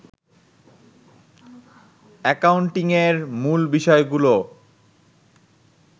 অ্যাকাউন্টিংয়ের মূল বিষয়গুলো